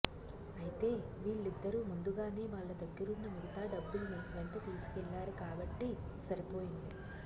అయితే వీళ్ళిద్దరూ ముందుగానే వాళ్ల దగ్గరున్న మిగతా డబ్బుల్ని వెంట తీసుకెళ్ళారు కాబట్టి సరిపోయింది